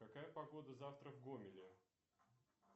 какая погода завтра в гомеле